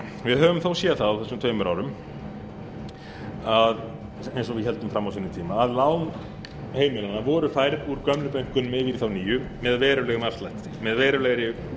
við höfum þó séð það á þessum tveimur árum eins og við héldum fram á sínum tíma að lán heimilanna voru færð úr gömlu bönkunum yfir þá nýju með verulegri